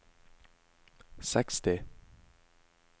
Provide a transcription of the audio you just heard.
seksti